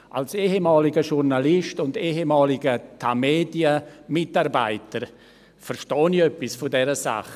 Als ehemaliger Journalist und ehemaliger Tamedia-Mitarbeiter verstehe ich etwas von dieser Sache.